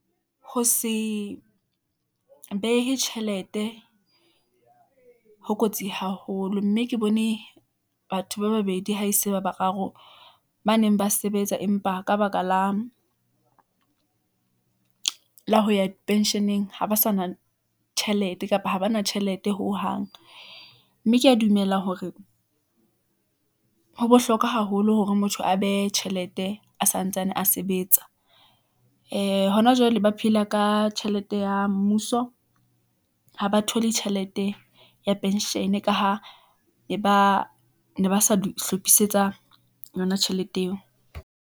Ho se behe tjhelete ho kotsi haholo, mme ke bone batho ba babedi, ha e se ba bararo ba neng ba sebetsa empa ka baka la ho ya pension-eng, ha ba sa na tjhelete, kapa ha ba na tjhelete hohang , mme ke ya dumela hore ho bohlokwa haholo hore motho a behe tjhelete a santsane a sebetsa . Ee Hona jwale ba phela ka tjhelete ya mmuso , ha ba thole tjhelete ya pension-e, ka ha ne ba sa dihlophisetsa yona tjhelete eo.